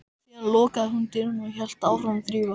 Síðan lokaði hún dyrunum og hélt áfram að þrífa.